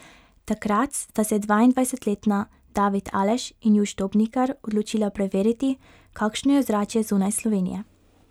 Takrat sta se dvaindvajsetletna David Aleš in Juš Dobnikar odločila preveriti, kakšno je ozračje zunaj Slovenije.